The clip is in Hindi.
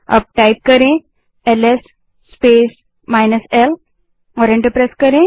अब एलएस स्पेस -l टाइप करें और एंटर दबायें